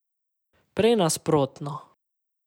Prej nasprotno.